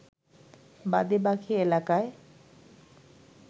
বাদে বাকী এলাকায়